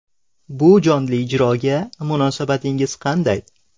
Bu jonli ijroga munosabatingiz qanday?